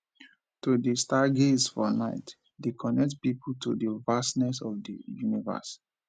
to dey stargaze for nite dey connect pipo to di vastness of di universe